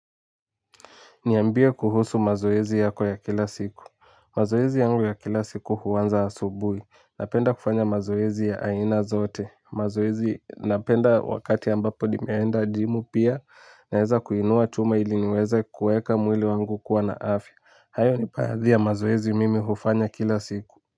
Niambie kuhusu mazoezi yako ya kila siku. Mazoezi yangu ya kila siku huanza asubuhi. Napenda kufanya mazoezi ya aina zote. Mazoezi napenda wakati ambapo nimeenda gym pia. Naeza kuinua chuma ili niweza kueka mwili wangu kuwa na afya. Hayo ni baadhi ya mazoezi mimi hufanya kila siku.